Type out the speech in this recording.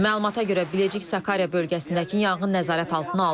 Məlumata görə Biləcik Sakarya bölgəsindəki yanğın nəzarət altına alınıb.